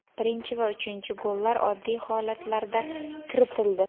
Birinchi va uchinchi gollar oddiy holatlarda kiritildi”.